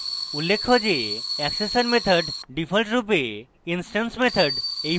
উল্লেখ্য যে accessor methods ডিফল্টরূপে instance methods